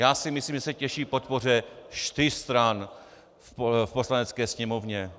Já si myslím, že se těší podpoře čtyř stran v Poslanecké sněmovně.